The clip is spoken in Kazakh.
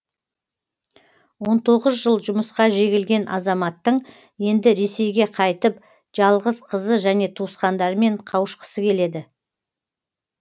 он тоғыз жыл жұмысқа жегілген азаматтың енді ресейге қайтып жалғыз қызы және туысқандарымен қауышқысы келеді